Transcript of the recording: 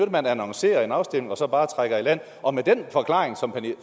at man annoncerer en afstemning og så bare trækker i land og den forklaring som